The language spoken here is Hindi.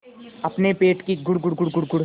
अपने पेट की गुड़गुड़ गुड़गुड़